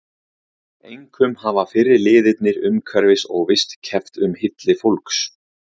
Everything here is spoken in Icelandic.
Einkum hafa fyrri liðirnir umhverfis- og vist- keppt um hylli fólks.